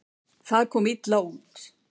Það komi illa út.